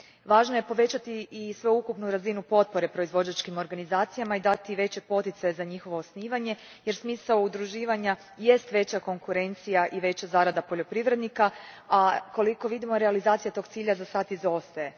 Važno je povećati i sveukupnu razinu potpore proizvođačkim organizacijama i dati veći poticaj za njihovo osnivanje jer smisao udruživanja jest veća konkurencija i veća zarada poljoprivrednika, a koliko vidimo realizacija tog cilja zasad izostaje.